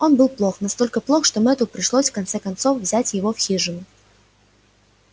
он был плох настолько плох что мэтту пришлось в конце концов взять его в хижину